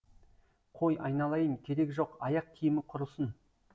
қой айналайын керегі жоқ аяқ киімі құрысын